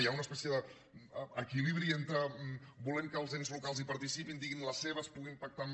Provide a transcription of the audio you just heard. hi ha una espècie d’equilibri entre volem que els ens locals hi participin diguin la seva puguin pactar amb